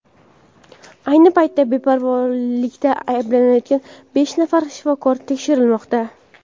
ayni paytda beparvolikda ayblanayotgan besh nafar shifokor tekshirilmoqda.